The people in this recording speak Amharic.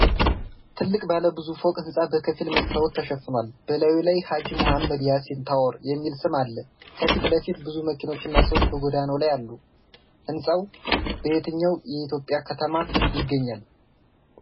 ትልቅ ባለብዙ ፎቅ ሕንፃ በከፊል በመስታወት ተሸፍኗል፤ በላዩ ላይ "HAJI MOHAMMED YASSIN TOWER" የሚል ስም አለ። ከፊት ለፊት ብዙ መኪኖችና ሰዎች በጎዳናው ላይ አሉ። ሕንፃው በየትኛው የኢትዮጵያ ከተማ ይገኛል?